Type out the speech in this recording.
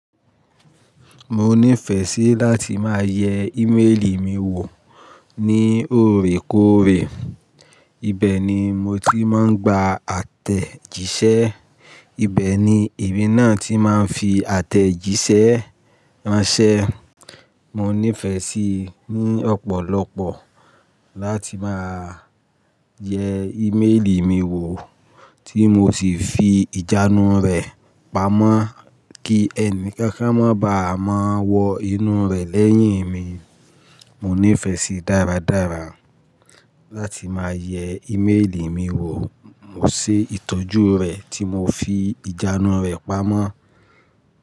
Mo ní ìfẹ́ sí láti máa yẹ ímélì mi wò ní òrékóòrè, ibẹ̀ ni mo ti máa ń gba àtẹ̀jíṣẹ́. Ibẹ̀ ni èmi náà ti máa ń fi àtẹ̀jíṣẹ́ ránṣẹ́. Mo ní ìfẹ́ sí ní ọ̀pọ̀lọpọ̀ láti máa yẹ ímélì mi wò tí mo sì fi ìjánu rẹ̀ pamọ́ kí ẹni kankan má bàa máa wọ inú rẹ̀ lẹ́yìn mi. Mo ní ìfẹ́ sí dáradára láti máa yẹ ímélì mi wò mọ̀ sé ìtọ́jú rẹ̀ tí mo fi ìjánu rẹ̀ pamọ́.